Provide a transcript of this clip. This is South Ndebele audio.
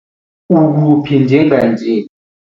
Ukuphi njenganje?